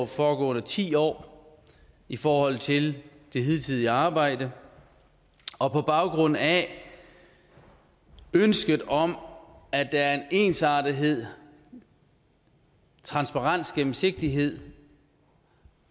foregående ti år i forhold til det hidtidige arbejde og på baggrund af ønsket om at der er en ensartethed transparens og gennemsigtighed